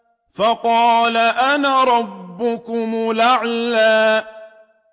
فَقَالَ أَنَا رَبُّكُمُ الْأَعْلَىٰ